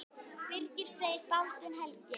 Birgir Freyr og Baldvin Helgi.